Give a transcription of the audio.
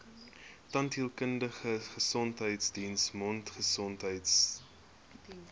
tandheelkundige gesondheidsdiens mondgesondheidsdiens